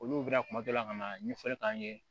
Olu bɛna kuma dɔ la ka na ɲɛfɔli k'an ye